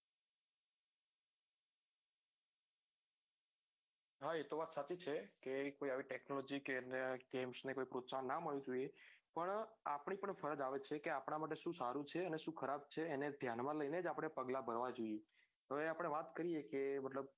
હા એતો વાત સાચી છે કે કોઈ આવી technology કે games ને પ્રોત્સાહન ના મળવું જોઈએ પણ આપડી પણ ફરજ આવે છે કે આપડા મારે સુ સારું છે અને સુ ખરાબ છે એને દયાન માં લઈને જ પગલાં ભરવા જોઈએ હવે આપડે વાત કરીએ કે